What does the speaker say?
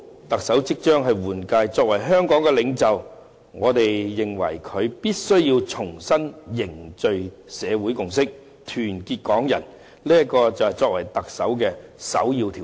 特首即將換屆，我們認為，特首作為香港的領袖，必須重新凝聚社會共識，團結港人，這是作為特首的首要條件。